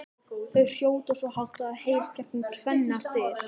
Þau hrjóta svo hátt að það heyrist gegnum tvennar dyr!